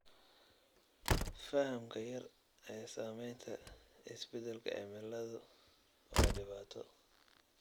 Fahamka yar ee saamaynta isbeddelka cimiladu waa dhibaato.